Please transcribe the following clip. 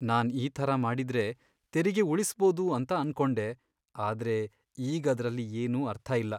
ನಾನ್ ಈ ಥರ ಮಾಡಿದ್ರೆ ತೆರಿಗೆ ಉಳಿಸ್ಬೋದು ಅಂತ ಅನ್ಕೊಂಡೆ, ಆದ್ರೆ ಈಗದ್ರಲ್ಲಿ ಏನೂ ಅರ್ಥ ಇಲ್ಲ.